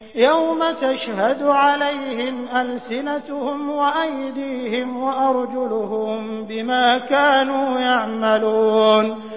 يَوْمَ تَشْهَدُ عَلَيْهِمْ أَلْسِنَتُهُمْ وَأَيْدِيهِمْ وَأَرْجُلُهُم بِمَا كَانُوا يَعْمَلُونَ